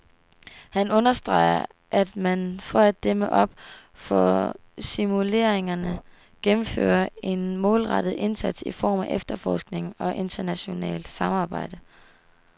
Han understreger, at man for at dæmme op for smuglerierne gennemfører en målrettet indsats i form af efterforskning og internationalt samarbejde.